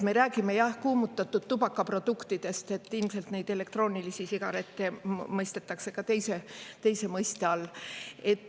Me räägime, jah, kuumutatud tubaka produktidest, ilmselt neid elektroonilisi sigarette mõistetakse ka teise mõiste all.